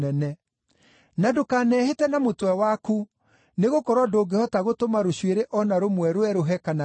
Na ndũkanehĩte na mũtwe waku, nĩgũkorwo ndũngĩhota gũtũma rũcuĩrĩ o na rũmwe rwerũhe kana rũire.